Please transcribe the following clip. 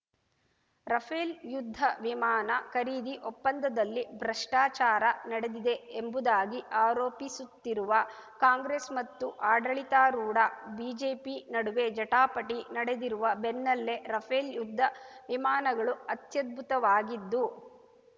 Rafale ಯುದ್ಧ ವಿಮಾನ ಖರೀದಿ ಒಪ್ಪಂದದಲ್ಲಿ ಭ್ರಷ್ಟಾಚಾರ ನಡೆದಿದೆ ಎಂಬುದಾಗಿ ಆರೋಪಿಸುತ್ತಿರುವ ಕಾಂಗ್ರೆಸ್‌ ಮತ್ತು ಆಡಳಿತಾರೂಢ ಬಿಜೆಪಿ ನಡುವೆ ಜಟಾಪಟಿ ನಡೆದಿರುವ ಬೆನ್ನಲ್ಲೇ ರಫೇಲ್‌ ಯುದ್ಧ ವಿಮಾನಗಳು ಅತ್ಯದ್ಭುತವಾಗಿದ್ದು